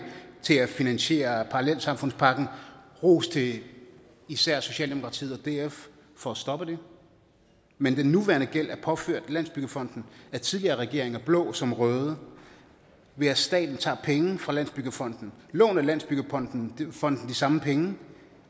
til at finansiere parallelsamfundspakken og ros til især socialdemokratiet og df for at stoppe det men den nuværende gæld er påført landsbyggefonden af tidligere regeringer blå som røde ved at staten tager penge fra landsbyggefonden låner landsbyggefonden de samme penge